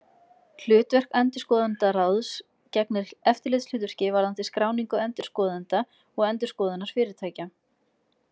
Hlutverk endurskoðendaráðs gegnir eftirlitshlutverki varðandi skráningu endurskoðenda og endurskoðunarfyrirtækja.